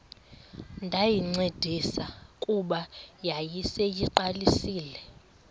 ndayincedisa kuba yayiseyiqalisile